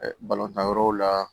balontan yɔrɔw la